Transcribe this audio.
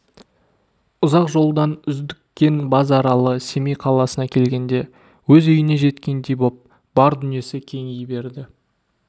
ұзақ жолдан үздіккен базаралы семей қаласына келгенде өз үйіне жеткендей боп бар дүниесі кеңи берді